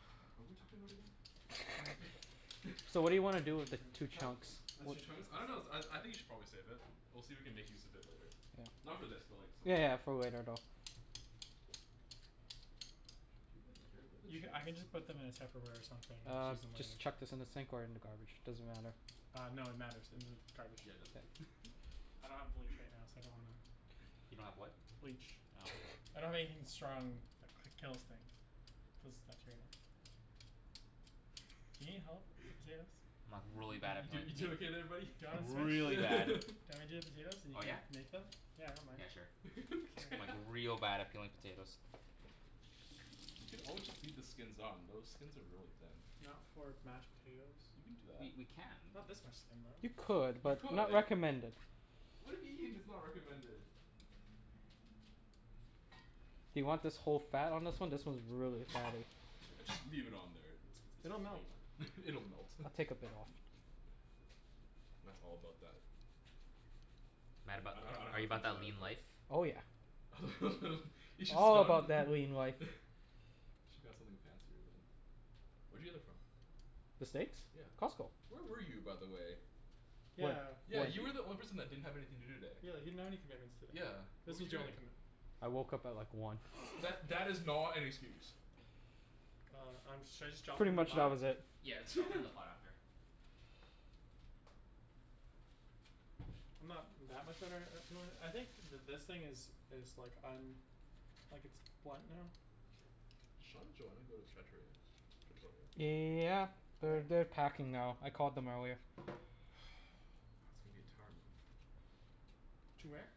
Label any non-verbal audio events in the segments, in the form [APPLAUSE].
[NOISE] What were we talking about again? [LAUGHS] [INAUDIBLE] So what do Gimme you wanna the do with the baker. two chunks? I just Two need to chunks? put [INAUDIBLE] I this don't know out of I your I think you way should probably save it. We'll see if we can make use of it later. Yeah. Not for this, but like some other Yeah day. yeah for later though. [INAUDIBLE] where are the You ca- chairs? I can just put them in a tupperware or something and Uh use them later. just chuck this in the sink or in the garbage, doesn't matter. Uh no, it matters. In the garbage. Yeah it does. [LAUGHS] I don't have bleach right now, so I don't wanna. You don't have what? Bleach Oh. I don't have anything strong that kills things. Kills bacteria. Do you need help with the potatoes? I'm like really bad at [NOISE] You peeling you doing potatoes. okay there buddy? Do you Like wanna switch? really bad. Do you [LAUGHS] [LAUGHS] want me to do the potatoes and you Oh can yeah? make them? Yeah I don't mind. Yeah sure. I'm like [NOISE] [LAUGHS] real bad at peeling potatoes. We could always just [INAUDIBLE] leave the skins on. Those skins are really thin. Not for mashed potatoes. You can do that. We we can. Not this much skin though. You could, You but could. not recommended. Why do you mean it's not recommended? Do you want this whole fat on this one? This one's really fatty. Just leave it on there. It's it's It'll melt flavor. It'll melt. I'll take a bit off. Matt's all about that Matt about I don't know that are how to you about finish that that, lean but life? Oh yeah. [LAUGHS] You should All about spun that lean life. [LAUGHS] Should got something fancier than Where'd you get that from? The steaks? Yeah. Costco. Where were you, by the way? Yeah Yeah, you were the only person that didn't have anything to do today. Yeah, you didn't have any commitments today. Yeah. What This were was you your only doing? commitment. I woke up at like one. That that is not an excuse. Uh I'm should I just drop them Pretty in the much that pot? was it. Yeah, let's drop it in the pot [LAUGHS] after. I'm not that much of [INAUDIBLE] I think th- this thing is is like um like it's blunt now. Sean and Joanna go to Trattoria? Victoria? Yeah. They're they're packing now. I called them earlier. [NOISE] [INAUDIBLE] To where?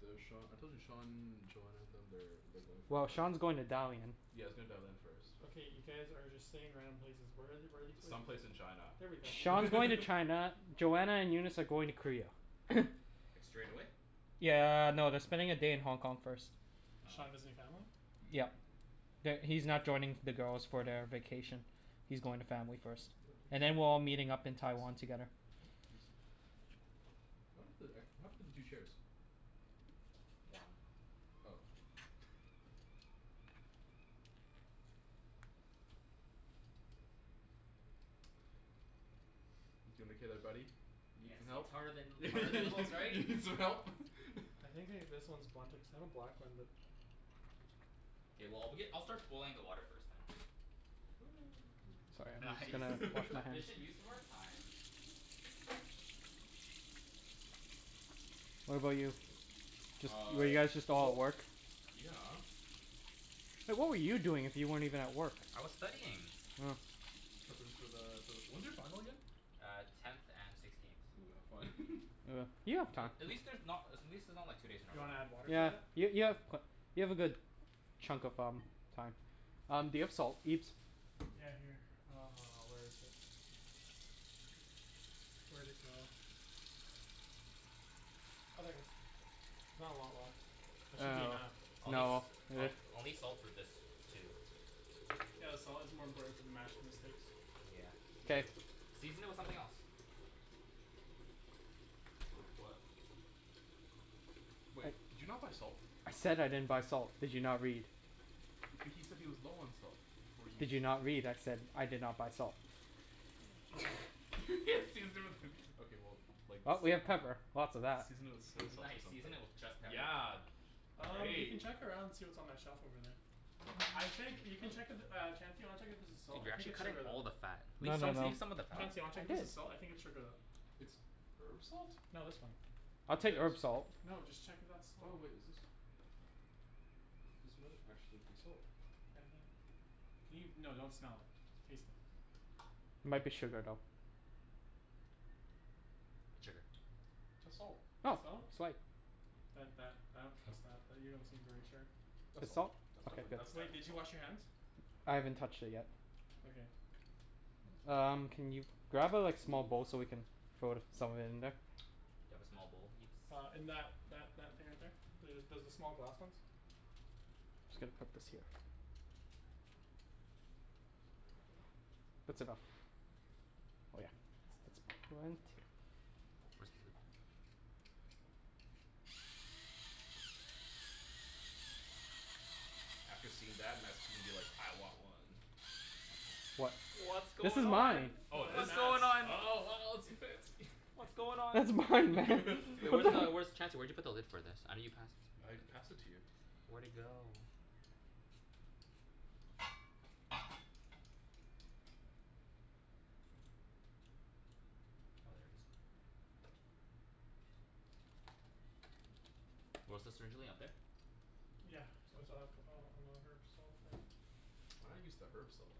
The Sean, I told you, Sean, Joanna and them they're they're going for. Well Sean's going to [INAUDIBLE] Dalian. Yea he's going to Dalian first. Okay, you guys are just saying random places. Where are the- where are these places? Some place in China There we go [LAUGHS] Sean's going to [LAUGHS] China, Joanna and Eunice are going to Korea. Like straight away? Yeah no, they're spending a day in Hong Kong first. Sean Oh. visiting family? Yeah. That He's not joining the girls for the vacation. He's going to family first. [INAUDIBLE] And then we're all meeting up in Taiwan together. Juicy. [INAUDIBLE] What happened to the two chairs? One. Oh. You peelin' okay there buddy? You need Yeah some see it's help? harder than harder than it looks, [LAUGHS] You right? need some help? [LAUGHS] I think they this one is blunted cuz that one. [INAUDIBLE] K well I'll begin I'll start boiling the water first then. Sorry. [NOISE] Just Nice. gonna wash my [LAUGHS] hands. Efficient use of our time. What [INAUDIBLE] about you? Just Uh. were you guys just all at Well. work? Yeah. Hey what were you doing if you weren't even at work? I was studying. Oh. [NOISE] Preppin' for the for the when's your final again? Uh tenth and sixteenth. Ooh, have fun. [LAUGHS] Uh. You have time. At least there's not at least it's not like two days in a You row. wanna add water to Yeah that? y- Yeah. you have you have a good chunk of um Time. Um do you have salt Ibs? Yeah here. Uh, where is it? Where'd it go? Oh there it is. There's not a lot left. That should be enough. Uh no Um [NOISE] I'll need salt for this too. Yeah the salt is more important for the mash than the steaks. Yeah, true. K. Season it with something else. With what? Wait, did you not buy salt? I said I didn't buy salt, did you not read? H- he said he was low on salt, before you Did s- you not read? I said I did not buy salt. [LAUGHS] Season it with okay well like s- Well, I we mean have pepper. Lots of that. Season it with soy [LAUGHS] sauce or Nice something. season it with just pepper. Yeah. Um you can Great. check around see what's on that shelf over there. I think you can check if uh Chancey wanna check if there's salt? Dude I you're think actually it's cutting sugar though. all the fat. Leave No some no no, Chancey? leave some of the Huh? fat. Chancey, wanna I check if this did. is salt? I think it's sugar though. It's herb salt? No this one. I'll take This? herb salt. No, just check if that's Oh salt. wait, is this? This might actually be salt. I think. Can you? No, don't smell it. Taste it. Might be [NOISE] sugar though. It's sugar. That's salt. It's Oh, salt? sweet. That that I don't trust that. That you don't seem very sure. That's It's salt. salt? That's Okay definitely good that's Wait, definitely did you salt. wash your hands? I haven't touched it yet. Okay. Um can you grab a like small bowl so we [NOISE] can throw some of it in there? Do you have a small bowl, Ibs? Uh in that that that thing right there. There's the small glass ones. Just gotta put this here. That's enough. Oh yeah. It's it's plenty. Where's the lid? After seeing that Matt's gonna be like "I want one!" What? What's This going is on? mine. Yo Oh it that's is? What's nuts. going on? Oh wow it's fancy. [LAUGHS] What's going on? That's It's mine. mine man. Hey [LAUGHS] What where's the the hell? where's t- [LAUGHS] Chancey where'd you put the lid for this? I know you passed I passed it to you. Where'd it go? Oh, there it is. Where was this originally? Up there? Yeah. it's up on on the herb salt thing. Why not use the herb salt?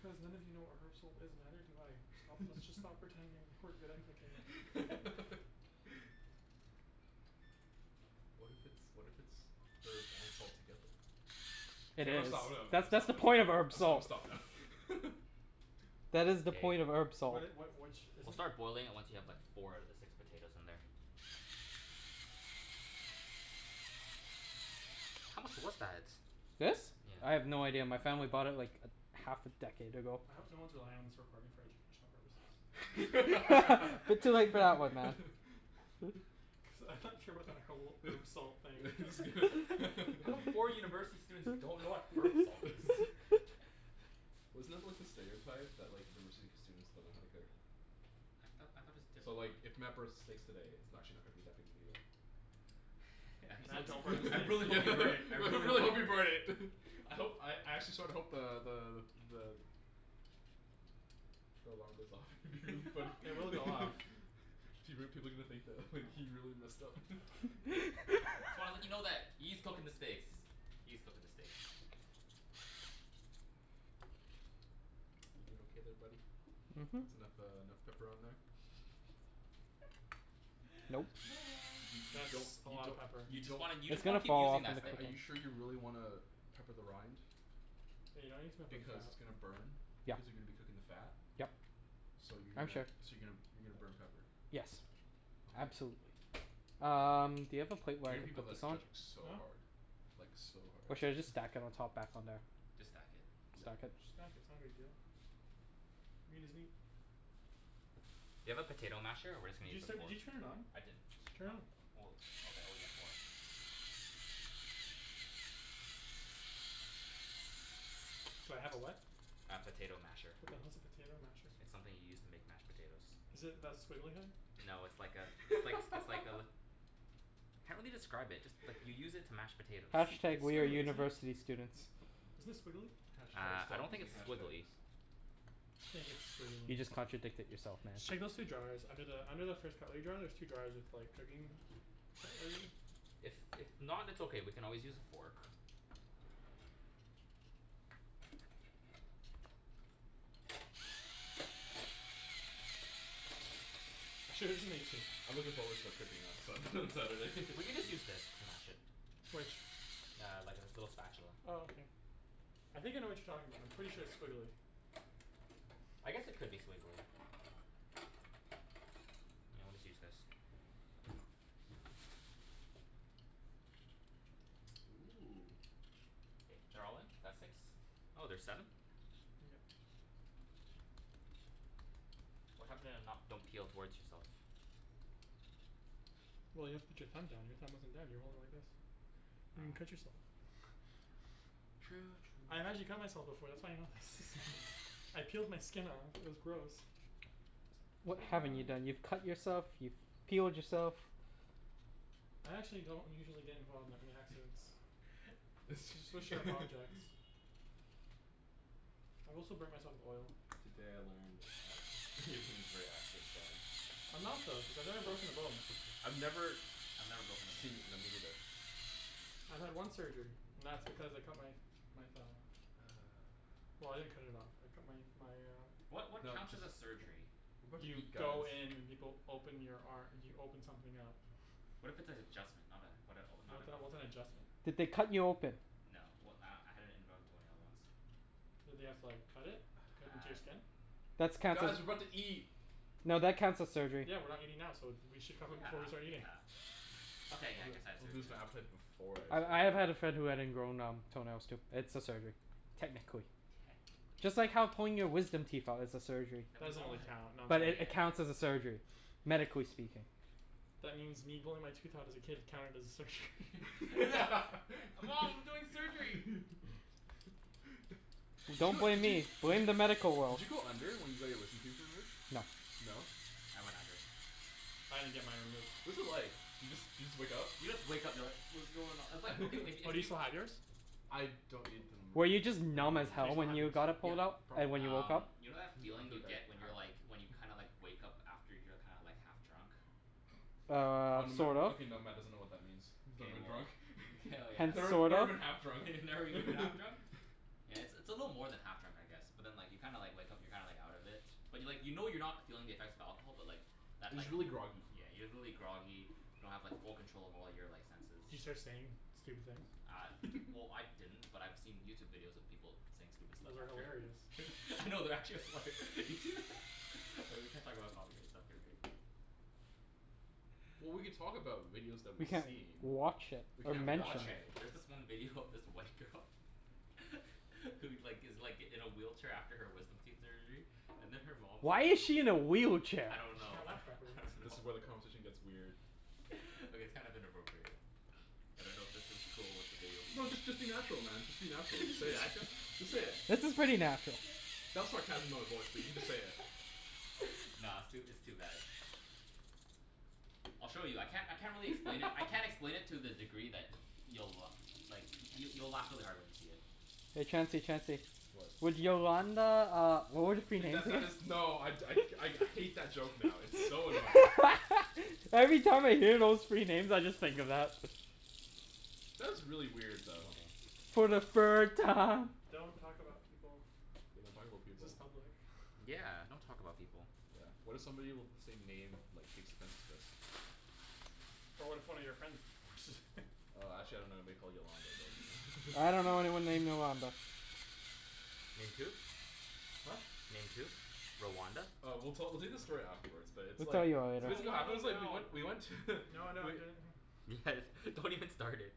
Cuz none of you know what herb salt is and neither do I. Sto- let's just [LAUGHS] stop pretending that we're good at cooking. [LAUGHS] [LAUGHS] What if it's what if it's herb and salt together? K Hey there I'm it gonna is. stop [NOISE] I'm gonna That's that's stop the point of herb I'm gonna salt. stop now [LAUGHS] That is the point of Hey. herb salt. What it what which is We'll it? start boiling it once you have like four out of the six potatoes in there. How much was that? This? I Yeah. have no idea. My family bought it like a half a decade ago. I hope no one's relying on this recording for educational purposes. [LAUGHS] You're too late for that one man. [LAUGHS] Cuz I'm not sure about that whole herb salt thing. [LAUGHS] Just gonna [LAUGHS] [LAUGHS] How come four [LAUGHS] university students don't know what herb salt is? [LAUGHS] Wasn't that like the stereotype? That like university students don't know how to cook? I thought I thought it was So different like if Matt burns the steaks today it's n- actually not gonna be that big a deal. I'm so Man, don't bring the t- [LAUGHS] I I States really hope you into this. burn it. I really hope hope you you burn burn it. it. [LAUGHS] I hope I actually sorta hope the the the the The alarm goes off. It would be funny [LAUGHS] [LAUGHS] It will go off. People people are gonna think that he Oh really messed up [LAUGHS] So I wanna let you know that [LAUGHS] E's cooking the steaks. E's cooking the steaks. You doin' okay there buddy? Mhm. Mhm. It's enough uh enough pepper on there? Nope. Y- [NOISE] you you That's don't a you lotta don't pepper. You you just wanna you It's just wanna gonna keep fall off using don't in that the sting. are cooking. you sure you really wanna pepper the rind? Yeah, you don't need to pepper the Because fat. it's gonna burn. Yeah. Cuz you're gonna be cooking the fat. Yep. So you're I'm gonna sure. so you're gonna you're gonna burn pepper. Yes, Okay. absolutely. Um do you have a plate I where I hear can people put that are this on? judging so Huh? hard. Like so hard. Or should I just stack it on top back on there? Just stack it. Yeah. Stack it? Just stack it, it's not a big deal. I mean doesn't he Do you have a potato masher or we're just Did gonna you use a set did fork? you turn it on? I didn't. Turn Not it. oh okay oh yeah four. Do I have a what? A potato masher. What the hell's a potato masher? It's something you use to make mashed potatoes. Is it that squiggly thing? No it's like a it's likes it's like a [LAUGHS] Can't really describe it, just like you use it to mash potatoes. Hash tag It's we're squiggly, isn't it? university students. Isn't it squiggly? Hash tag Uh I stop don't think using it's hash squiggly. tags. I just think it's squiggly You just contradicted yourself man. Just check those two drawers. Under the under the first cutlery drier there's two drawers with like cooking cutlery. If if not it's okay, we can always use a fork. I'm sure it doesn't mix it. I'm looking forward to cooking on Sun- on Saturday. [LAUGHS] We can just use this to mash it. Which? Yeah, like this little spatula. Oh okay. I think I know what you're talking about, I'm pretty sure it's squiggly. I guess it could be squiggly. I always use this. [NOISE] Ooh. K, they're all in? That's six? Oh, there's seven? Yeah. What happened to not don't peel towards yourself? Well you have to put your thumb down. Your thumb wasn't down. You were holding it like this. You're gonna Oh cut yourself. [LAUGHS] True I've true actually cut myself true before. That's why I know this. Actually? [LAUGHS] I peeled my skin off. It was gross. You What T haven't m you i done? You've cut yourself, you've peeled yourself. I actually don't usually get involved with that many accidents. [LAUGHS] With sharp objects. [LAUGHS] I've also burnt myself with oil. Today I learned that Ibrahim is very accident prone. I'm not though, cuz I've never broken a bone. I've never I've never broken a bone Seen, either. no me neither. I've had one surgery, and that's because I cut my my thumb off. Well I didn't cut it off, I cut my my uh What what counts as a surgery? What are You you guys go in and people open your ar- you open something up. What if it's an adjustment? Not uh what a not What the an hell, what's open? an adjustment? Did they cut you open? No, well uh I had an ingrown toenail once. Did they have to like cut it? Cut into your Uh skin? That's counts Guys, as we're about to eat. no that counts as surgery. Yeah, we're not eating now, so th- we should cover Yeah, it before we start eating. yeah. I'll Okay, yeah I guess I had I'll surgery lose my then. appetite before I I start I have had a eating. friend who had ingrown um toenails too. It's a surgery. Techincally. Technically. Just like how pulling your wisdom teeth out is a surgery. Then That we've doesn't all really had count, But it [INAUDIBLE] yeah. counts as a surgery, medically speaking. That means me pulling my tooth out as a kid counted as a surgery. [LAUGHS] [LAUGHS] Hey mom we're doing surgery! [LAUGHS] Did Don't you blame did you me, blame did you the medical did world. you go under when you got your wisdom teeth removed? No. No? I went under. I didn't get mine removed. What was it like? Do you just do you just wake up? You just wake up you're like "What's going on?" It's like okay if [LAUGHS] Oh if do you you still have yours? I don't need them Were you removed. just They're not numb as bugging Do you hell still me. when have yours? you got it Yeah, pulled out? And probably. when you woke Um up? you know that feeling you get when you're like [INAUDIBLE] when you kinda like wake up after you're kinda like half drunk? Um, Um Matt sort of. okay now Matt doesn't know what that means. K, Never been well, drunk. k oh [LAUGHS] [INAUDIBLE] Never yes. sort never of. been half drunk. [LAUGHS] Never even half drunk? [LAUGHS] Yeah, it's a little more than half drunk I guess. But then like you kinda like wake up and you're kinda like out of it. But like you know you're not feeling the effects of alcohol but like But Just like y- really groggy. yeah, you're really groggy, you don't have like full control of all your like senses. Do you start saying stupid things? Uh well [LAUGHS] I didn't, but I've seen YouTube videos of people saying stupid stuff Those are after. hilarious. [LAUGHS] No, they're actually hilar- You see [LAUGHS] Oh, we can't talk about copyright stuff here, right? Well we could talk about videos that We we've can't seen. watch it We or Okay can't mention watch okay, it. there's this one video of this white girl [LAUGHS] Who like gives like in a wheelchair after her wisdom teeth surgery. And then her mom Why is she in a wheelchair? I don't Cuz she know can't I walk properly. don't This know is where the [LAUGHS] conversation gets weird. [LAUGHS] Okay it's kind of inappropriate. I don't know if this is cool with the video people. No just just be natural man, just be natural. Just say [LAUGHS] it. natural? Just say Yeah. it. This is pretty natural. That was sarcasm in my voice. But you just say it. [LAUGHS] Nah, it's too it's too bad. I'll show you. I can't I can't really explain it. I [LAUGHS] can't explain it to the degree that you'll like you'll you'll laugh really hard when you see it. Hey Chancey Chancey. What? Would Yolanda uh would it be K that that is. [INAUDIBLE] No I I I hate that joke now. It's so annoying. [LAUGHS] Every time I hear those three names I just think of that. That was really weird though. Okay. For the third time. Don't talk about people. We don't talk about This is people. public. Yeah, don't talk about people. Yeah, what if somebody with the same name like takes offense of this? But what if one of your friends just [NOISE] Uh actually I don't know anybody called Yolanda but you I dunno know. [LAUGHS] anyone named Yolanda. Named who? Huh? Named who? Rwanda? Uh we'll tell we'll tell you the story afterwards, but it's We'll tell like. you So later. No, this I is what wanna happened know it's like we now. went we went to No, no, I [LAUGHS] do. Guys, don't even start it.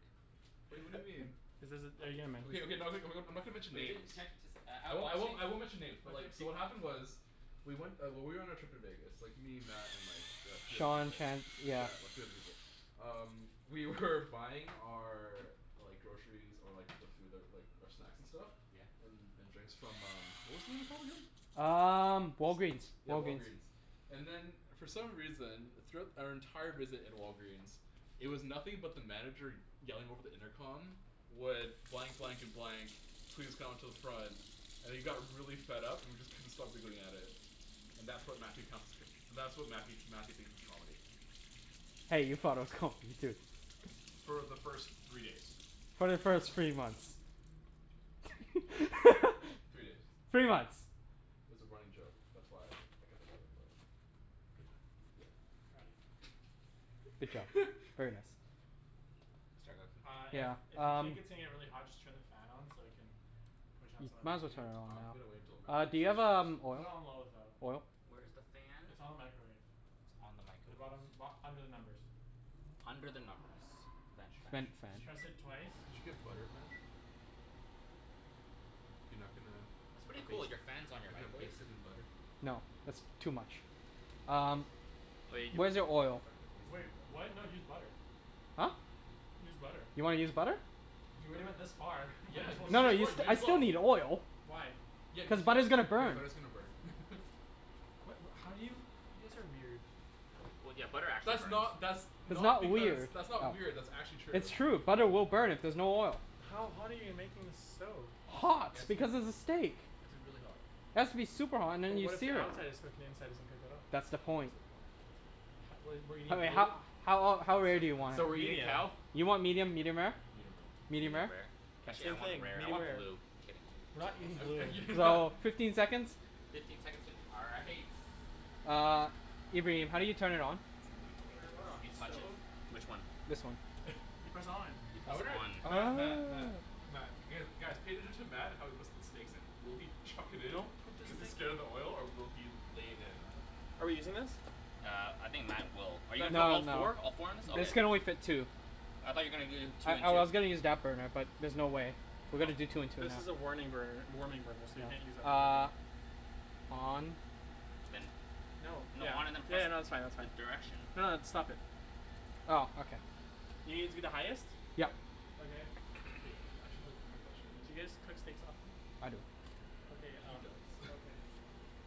Wait what do you mean? Is this are you going to mention Okay okay [INAUDIBLE] someone? I'm not gonna mention Wait names. [INAUDIBLE] can't just uh I won't I won't I won't [INAUDIBLE] mention names but Okay. like so what happened was. We went uh when we were on our trip to Vegas. Me, Matt, and like the three other Sean people. can't yeah. Yeah three other people. Um we were buying our Like groceries, or like the food that like um snacks and stuff Yeah. And and drinks from um what was the name [INAUDIBLE] again? Um Walgreens. Yeah Walgreens. Walgreen's. And then for some reason, throughout our entire visit at Walgreens It was nothing but the manager yelling over the intercom Would blank blank and blank Please come to the front And he got really fed up and we just couldn't stop giggling at it. And that's what Matthew counts as that's what Matthew Matthew thinks is comedy. Hey, you thought it was comedy, too. For the first three days. For the first three months. Three days. [LAUGHS] Three months. It's a running joke. That's why I kept on going for it. Good job. Yeah. Proud of you. Good job. [LAUGHS] Very nice. Uh Yeah, if if you um. think it's gonna get really hot just turn the fan on so you can Push out some of Might as the well heat. turn it on I'm gonna wait until now. Matt Uh do you have um [INAUDIBLE] Put it oil on low though. oil? Where's the fan? It's on the microwave. It's on In the the microwave. bottom bo- under the numbers. Under the numbers. Did French you [INAUDIBLE] did French. French. you did Just press it twice. you get butter, Matt? You're not gonna It's pretty baste cool, your not fan's gonna on baste your it in microwave. butter? No, that's too much. Um, where's He's your he's oil? not gonna baste Wait, it in what? butter. No use butter. Huh? Use butter. You wanna use butter? You already went this far, might Yeah, as you well can use No, you s- I still need just [INAUDIBLE] oil. Why? Yeah cuz Cuz you butter's gonna yeah burn. butter's gonna burn [LAUGHS] What what how do you? You guys are weird. That's not that's It's not not because weird. that's not weird that's actually true. It's true. Butter will burn if there's no oil. How hot are you making this stove? Just it Hot, has to be because it it's a steak. has to be really hot. It has to be super hot and But then you what if the sear it. outside is cooked and the inside isn't cooked at all? That's the That's point. the point. What do you mean? I mean Blue? how how ol- how rare do you want Medium. it? You want medium, medium rare? Medium rare Medium Medium rare? rare. Actually I Same thing, want medium rare rare. or blue. Kidding. We're not eating blue. So, [LAUGHS] fifteen seconds? Fifteen seconds will do all right. Uh, Ibrahim, how do you turn it on? It's gonna be Turn what hilarious. on, the stove? Which one? This one. You press on. [LAUGHS] I wonder Matt Matt Oh. Matt Matt guys cater to Matt how he puts the steaks in. Will he chuck it in? Don't put this Cuz he's thing scared of the oil or will he lay it in? Are we using this? Uh I think Matt will. Are you [INAUDIBLE] put No, all no. four? All four in it? This can Okay. only [LAUGHS] fit two. I thought you're gonna do I two and I two. was gonna [INAUDIBLE] use that burner, but there's no way. We're gonna do two and two now. This is a warning burner warming burner so you can't use that for cooking. Uh On Then. No. Yeah. No, Yeah no on and that's fine then that's fine. press the direction. No it's stop it. Oh, okay. You gonna use the highest? Yep. Okay. K, I actually have a legitimate question. D'you guys cook steaks often? I don't. Okay He uh does. [LAUGHS] okay.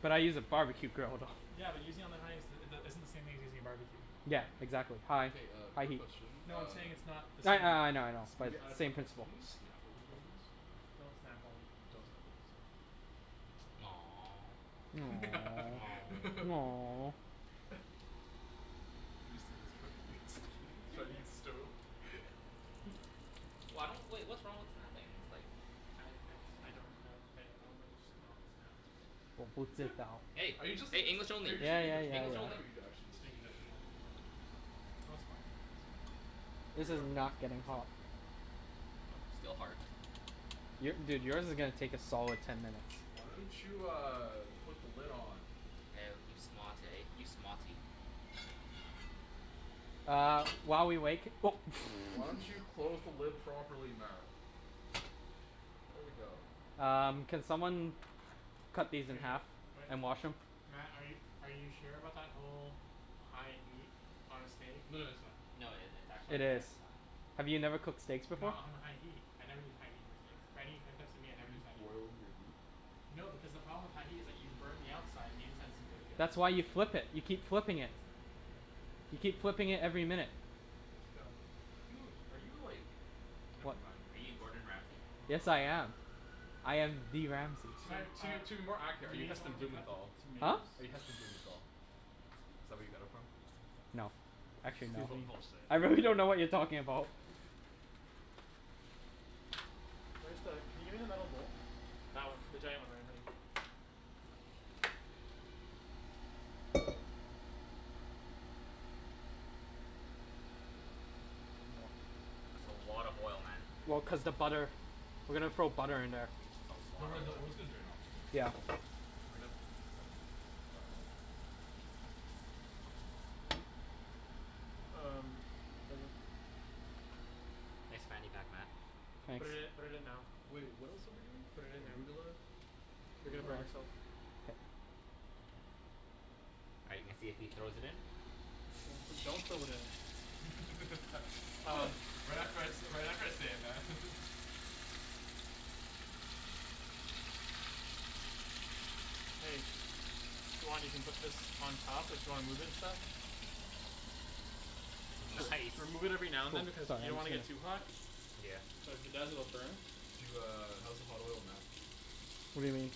But I use a barbecue grill though. Yeah but using on the highest uh the isn't the same thing as using a barbecue. Yeah, Yeah man. exactly, high K uh high quick heat. question No I'm uh saying it's not the same. Yeah, yeah. I know I know. Maybe out of [NOISE] Same context. principle. Can we snap while we're doing this? Don't snap while you're doing Don't this. snap to be safe. [NOISE] [LAUGHS] Three students try to use [LAUGHS] try to use stove. [LAUGHS] Why don't wait what's wrong with snapping ? It's like I I just I don't I I don't know but just don't snap. Wo bu zhi dao Hey, [LAUGHS] Are you are just you it's just saying? are you Yeah just making a yeah yeah judgment call right yeah now or are you actually just Safety judgment call. Oh okay, Oh it's fine. We'll This figure is out for next not time. getting Next time hot. will be [INAUDIBLE] more fun. Still hard. Your dude yours is gonna take a solid ten minutes. Why don't you uh put the lid on? Woah you smart eh you smarty. Uh while we wait [NOISE] [NOISE] Why don't you close the lid properly Matt? There we go. Um, can someone cut Okay, these in half wait, and wash them? Matt are you are you sure about that whole high heat on a steak? No that's fine. No it it's It actually Okay. is. just fine. Have you never cooked steaks before? Not on a high heat. I never use high heat on steaks. For any types of meat I Do never you use just high heat. boil your meat? No because the problem with high heat is that you burn the outside and the inside isn't cooked yet. That's why you flip it. You keep flipping it. That's no- okay, You keep cook flipping it every your [INAUDIBLE] minute. Just go. Are you [LAUGHS] in are you like never mind. Are you Yes I Gordon am. Ramsay? I am the Ramsay. To Si- uh, to to be more accurate, are we you need Heston someone to cut the Blumenthal? Huh? tomatoes? Are you Heston Blumenthal? Is that where you got it from? No, actually no. Excuse me. Bull bull shit. I really don't know what you're talking about. Where's the can you give me the metal bowl? That one. The giant one right in front of you. That's a lot of oil, Matt. Well cuz the butter. We're gonna throw butter in there. It's a Don't worry lot the of oil's gonna oil. drain out though right? Yeah. We [INAUDIBLE] probably dry it off. Um, okay. Thanks man you got that? You put it in Nice. put it in now. Wait, what else are we doing? Put it in now. Arugula? You're gonna Arugula? burn yourself. All right let's see if he throws it in. Do- do- don't throw it in. [LAUGHS] Um. Right after I say right after I say it, Matt. Hey. If you want, you can put this on top. If you wanna move it and stuff. Just That's nice remove it every now and then cuz you don't want to get too hot. Yeah. Cuz the [INAUDIBLE] burn. Do uh how's the hot oil Matt? What do you mean?